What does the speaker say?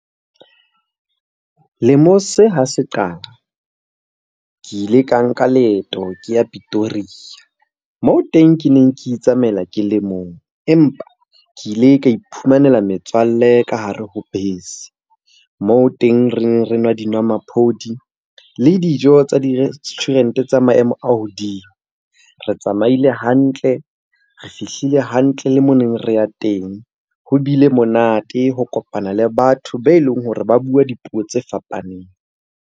Lemong se ha se qala ke ile ka nka leeto ke ya Pretoria moo teng ke neng ke itsamaela ke le mong. Empa ke ile ka iphumanela metswalle ka hare ho bese, moo teng reng re nwa dinomaphodi le dijo tsa di-restaurant-e tsa maemo a hodimo. Re tsamaile hantle, re fihlile hantle le moo neng re ya teng. Ho bile monate ho kopana le batho be leng hore ba bua dipuo tse fapaneng.